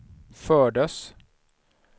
fördes